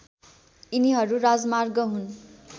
यिनीहरू राजमार्ग हुन्